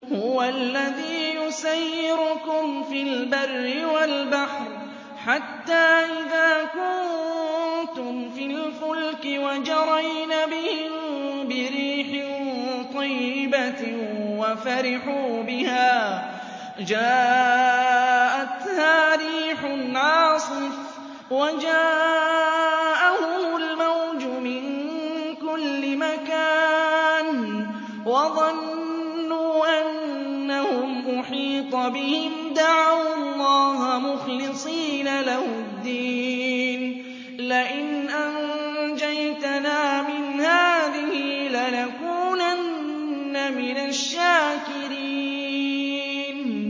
هُوَ الَّذِي يُسَيِّرُكُمْ فِي الْبَرِّ وَالْبَحْرِ ۖ حَتَّىٰ إِذَا كُنتُمْ فِي الْفُلْكِ وَجَرَيْنَ بِهِم بِرِيحٍ طَيِّبَةٍ وَفَرِحُوا بِهَا جَاءَتْهَا رِيحٌ عَاصِفٌ وَجَاءَهُمُ الْمَوْجُ مِن كُلِّ مَكَانٍ وَظَنُّوا أَنَّهُمْ أُحِيطَ بِهِمْ ۙ دَعَوُا اللَّهَ مُخْلِصِينَ لَهُ الدِّينَ لَئِنْ أَنجَيْتَنَا مِنْ هَٰذِهِ لَنَكُونَنَّ مِنَ الشَّاكِرِينَ